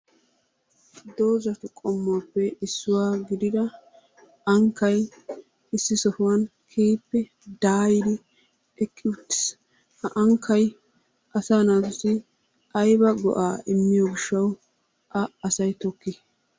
Doozatu qommuwappe issuwa gidida ankkay issi sohuwan keehippe daayidi eqqi uttiis. Ha ankkay asaa naatussi ayba go'aa immiyo gishshatwu A asay tokkii?